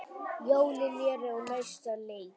Jólin eru á næsta leiti.